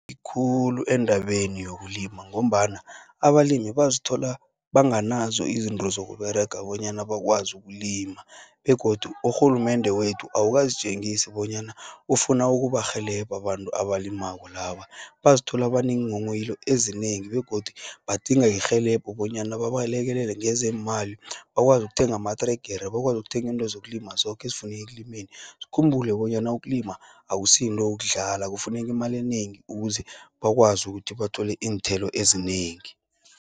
Khulu endabeni yokulima, ngombana abalimi bazithola, banganazo izinto zokuberega bonyana bakwazi ukulima, begodu urhulumende wethu awukazi tjengisi bonyana, ufuna ukubarhelebha abantu abalimako laba. Bazithola banenghonghoyilo ezinengi, begodu badinga irhelebho bonyana babalekelele ngezeemali. Bakwazi ukuthenga amatregere, bakwazi ukuthenga intwezokulima, zoke ezifuneke ekulumeni. Sikhumbule bonyana ukulima, akusiyinto yokudlala kufuneki imali enengi, ukuze bakwazi ukuthi bathole iinthelo ezinengi.